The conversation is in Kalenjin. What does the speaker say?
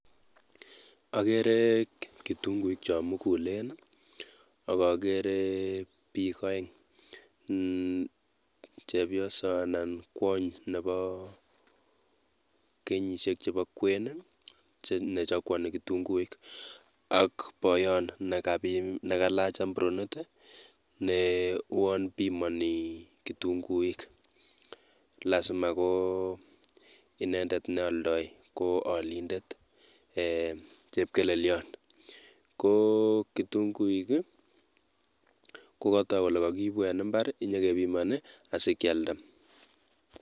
Okeree kitung'uik chon mukulen i, okokeree biik oeng, chepioso anan kwony neboo kenyishek chebo kween i nechokwoni kitung'uik ak boyon nekalach ambronit i nee uwon bimoni kitung'uik, lasima ko inendet neoldo ko olindet eeh chepkelelion, ko kitung'uik i kokotok kolee kokiibu en imbar inyokebimoni asikialda.